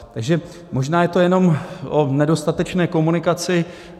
Takže možná je to jenom o nedostatečné komunikaci.